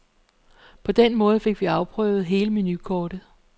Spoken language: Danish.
På den måde fik vi afprøvet hele menukortet.